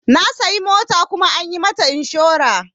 Na sayi mota kuma an yi mata inshora.